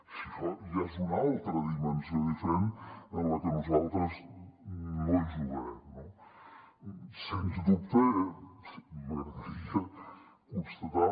això ja és una altra dimensió diferent en la que nosaltres no jugarem no sens dubte m’agradaria constatar